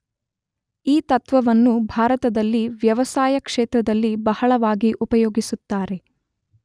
ಈ ತತ್ತ್ವವನ್ನು ಭಾರತದಲ್ಲಿ ವ್ಯವಸಾಯ ಕ್ಷೇತ್ರದಲ್ಲಿ ಬಹಳವಾಗಿ ಉಪಯೋಗಿಸುತ್ತಾರೆ.